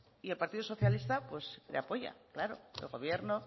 y el partido socialista le apoya claro el gobierno